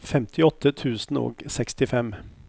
femtiåtte tusen og sekstifem